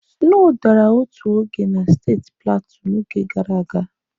Sno dara otu oge na steeti Platu n'oge gara aga.